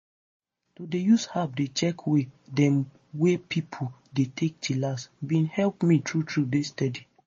to dey use app dey check way dem wey pipo dey take chillax bin help me true true dey steady.